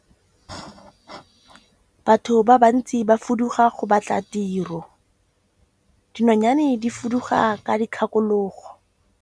Batho ba bantsi ba fuduga go batla tiro, dinonyane di fuduga ka dikgakologo.